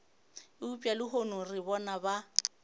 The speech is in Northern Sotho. eupša lehono re bona ba